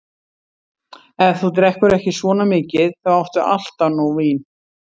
Ef þú drekkur ekki svona mikið, þá áttu alltaf nóg vín.